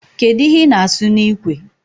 Kedụ ihe ị na-asụ n'ikwe